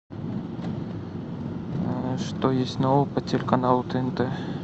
что есть нового по телеканалу тнт